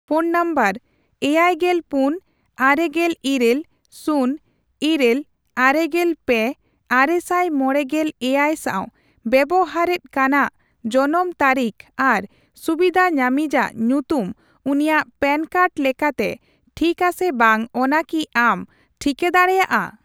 Phone number ᱮᱭᱟᱭᱜᱮᱞ ᱯᱩᱱ ,ᱟᱨᱮᱜᱮᱞ ᱤᱨᱟᱹᱞ ,ᱥᱩᱱ ,ᱤᱨᱟᱹᱞ ,ᱟᱨᱮᱜᱮᱞ ᱯᱮ ,ᱟᱨᱮᱥᱟᱭ ᱢᱚᱲᱮᱜᱮᱞ ᱮᱭᱟᱭ ᱥᱟᱸᱣ ᱵᱮᱵᱚᱦᱟᱨᱮᱛ ᱠᱟᱱᱟᱜ ᱡᱚᱱᱚᱢ ᱛᱟᱹᱨᱤᱠᱷ ᱟᱨ ᱥᱩᱵᱤᱫᱷᱟ ᱧᱟᱢᱤᱡᱟᱜ ᱧᱩᱛᱩᱢ ᱩᱱᱤᱭᱟᱜ ᱯᱮᱱ ᱠᱟᱨᱰ ᱞᱮᱠᱟᱛᱮ ᱴᱷᱤᱠᱟ ᱥᱮ ᱵᱟᱝ ᱚᱱᱟ ᱠᱤ ᱟᱢ ᱴᱷᱤᱠᱟᱹ ᱫᱟᱲᱮᱭᱟᱜᱼᱟ ᱾